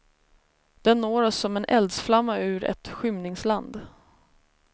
Den når oss som en eldsflamma ur ett skymningsland.